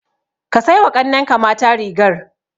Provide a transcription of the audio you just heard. Ka sai wa ƙannenka mata rigar.